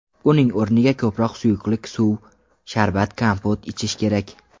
Uning o‘rniga ko‘proq suyuqlik suv, sharbat, kompot ichish kerak.